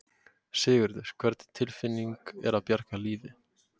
Sigurður: Hvernig tilfinning er að bjarga lífi?